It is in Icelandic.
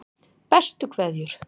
Bestu kveðjur